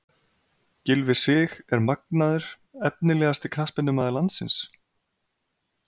Gylfi Sig er magnaður Efnilegasti knattspyrnumaður landsins?